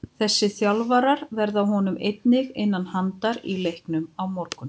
Þessi þjálfarar verða honum einnig innan handar í leiknum á morgun.